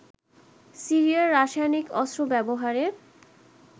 সিরিয়ায় রাসায়নিক অস্ত্র ব্যবহারের